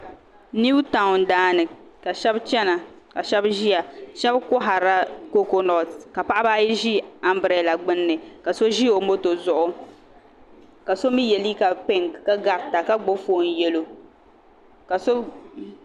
Niw taawn daani ka shab chɛna ka shab ʒiya shab koharila kokonot ka paɣaba ayi ʒi anbirɛla gbunni ka so ʒi o moto zuɣu ka so mii yɛ liiga pink ka garita ka gbubi foon yɛlo